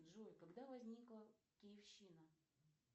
джой когда возникла киевщина